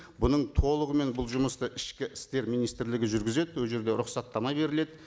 бұның толығымен бұл жұмысты ішкі істер министрлігі жүргізеді ол жерде рұқсаттама беріледі